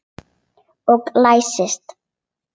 Og læsti.